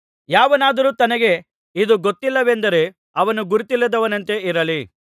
ಯಾವನಾದರೂ ತನಗೆ ಇದು ಗೊತ್ತಿಲ್ಲವೆಂದರೆ ಅವನು ಗುರುತಿಲ್ಲದವನಂತೆ ಇರಲಿ